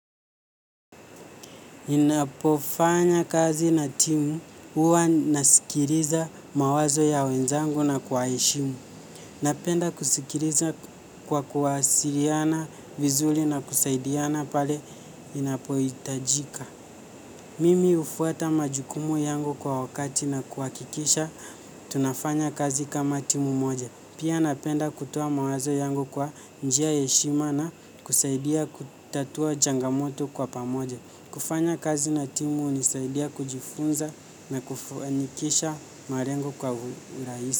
Ninapofanya kazi na timu huwa nasikiliza mawazo ya wenzangu na kuwaheshimu. Napenda kusikiliza kwa kuwasiliana vizuri na kusaidiana pale ninapohitajika. Mimi hufuata majukumu yangu kwa wakati na kuhakikisha tunafanya kazi kama timu moja. Pia napenda kutoa mawazo yangu kwa njia heshimu na kusaidia kutatua changamoto kwa pamoja. Kufanya kazi na timu hunisaidia kujifunza na kufanikisha malengo kwa urahisi.